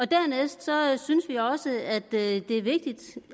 dernæst synes vi også at det er vigtigt